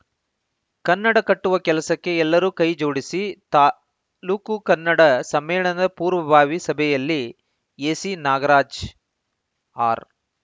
ಕನ್ನಡ ಕಟ್ಟುವ ಕೆಲಸಕ್ಕೆ ಎಲ್ಲರೂ ಕೈ ಜೋಡಿಸಿ ತಾಲೂಕು ಕನ್ನಡ ಸಮ್ಮೇಳನದ ಪೂರ್ವಭಾವಿ ಸಭೆಯಲ್ಲಿ ಎಸಿ ನಾಗರಾಜ್‌ ಆರ್‌